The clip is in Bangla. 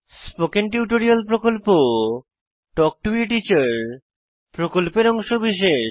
স্পোকেন টিউটোরিয়াল প্রকল্প তাল্ক টো a টিচার প্রকল্পের অংশবিশেষ